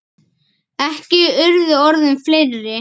Ekki urðu orðin fleiri.